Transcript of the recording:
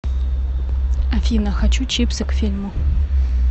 афина хочу чипсы к фильму